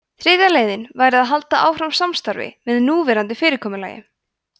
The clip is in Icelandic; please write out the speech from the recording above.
þriðja leiðin væri að halda áfram samstarfi með núverandi fyrirkomulagi